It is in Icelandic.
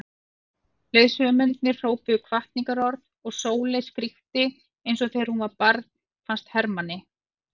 Leiðsögumennirnir hrópuðu hvatningarorð og Sóley skríkti eins og þegar hún var barn fannst Hermanni.